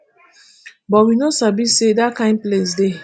but we no sabi say dat kain place dey